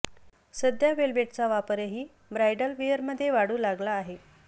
सध्या वेल्व्हेटचा वापरही ब्राइडल वेअरमध्ये वाढू लागला आहे